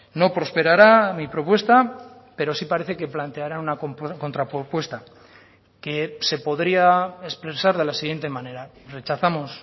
no prosperará mi propuesta pero sí parece que planteará una contrapropuesta que se podría expresar de la siguiente manera rechazamos